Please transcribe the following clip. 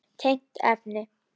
Tengt efni